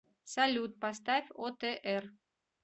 салют поставь отр